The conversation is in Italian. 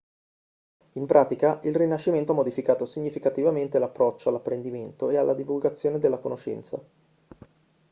in pratica il rinascimento ha modificato significativamente l'approccio all'apprendimento e alla divulgazione della conoscenza